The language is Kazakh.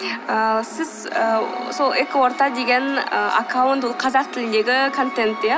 ыыы сіз ы сол экоорта деген ы аккаунт ол қазақ тіліндегі контент иә